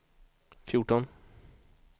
fjorton